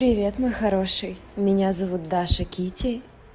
привет мой хороший меня зовут даша китти